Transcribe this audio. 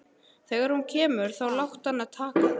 Þegar hún kemur þá láttu hana taka þig.